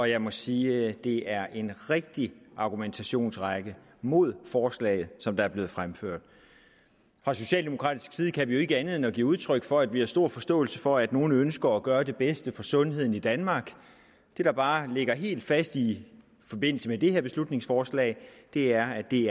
jeg må sige at det er en rigtig argumentationsrække mod forslaget som er blevet fremført fra socialdemokratisk side kan vi ikke andet end at give udtryk for at vi har stor forståelse for at nogle ønsker at gøre det bedste for sundheden i danmark det der bare ligger helt fast i forbindelse med det her beslutningsforslag er at det